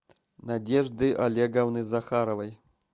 надежды олеговны захаровой